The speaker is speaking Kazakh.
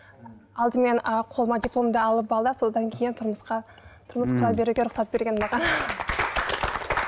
алдымен ы қолыңа дипломды алып ал да содан кейін тұрмысқа тұрмысқа беруге рұқсат берген маған